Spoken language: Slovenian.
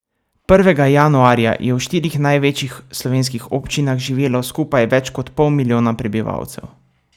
Prvega januarja je v štirih največjih slovenskih občinah živelo skupaj več kot pol milijona prebivalcev.